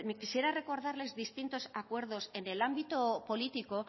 quisiera recordarles distintos acuerdos en el ámbito político